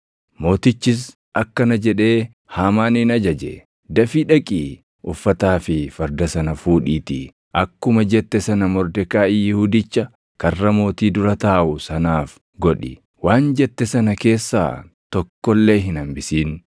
Mootichis akkana jedhee Haamaanin ajaje; “Dafii dhaqii uffataa fi farda sana fuudhiitii akkuma jette sana Mordekaayi Yihuudicha karra mootii dura taaʼu sanaaf godhi. Waan jette sana keessaa tokko illee hin hambisin.”